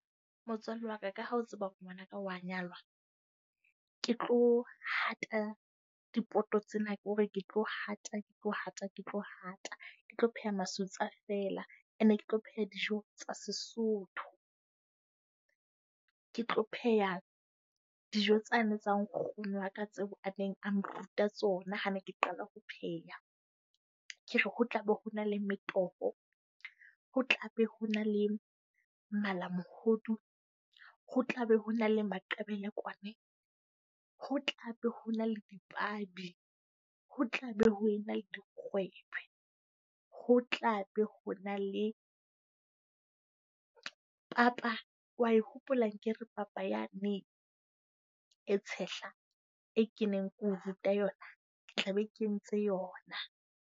Motswalle wa ka, ka ha o tseba hore ngwanaka wa nyalwa. Ke tlo hata dipoto tsena. Ke hore ke tlo hata, ke tlo hata, ke tlo hata. Ke tlo pheha masutsa fela, ene ke tlo pheha dijo tsa Sesotho. Ke tlo pheha dijo tsane tsa nkgono wa ka tseo a neng a nruta tsona ha ne ke qala ho pheha. Ke re ho tlabe ho na le metoho, ho tlabe ho na le malamohodu, ho tlabe ho na le Moqebelo kwana ho tlabe ho na le dipabi. Ho tlabe ho ena le dikgwebo. Ho tlabe ho na le papa. Wa e hopola akere, papa yane e tshehla, e keneng ke o ruta yona? Ke tla be ke entse yona.